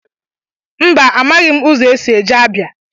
Mba amaghị m ụzọ esị eje Abịa.